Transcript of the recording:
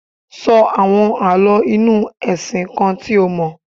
Sọ àwọn Àlọ́ inú ẹ̀sìn kan tí o mọ̀.